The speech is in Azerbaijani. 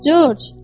Corc!